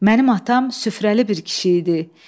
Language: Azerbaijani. Mənim atam süfrəli bir kişi idi.